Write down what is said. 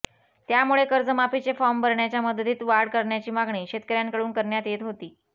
त्यामुळे कर्जमाफीचे फॉर्म भरण्याच्या मुदतीत वाढ करण्याची मागणी शेतकऱ्यांकडून करण्यात येत होती